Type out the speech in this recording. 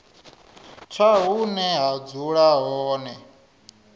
tsha hune vha dzula hone